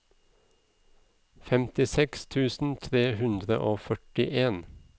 femtiseks tusen tre hundre og førtien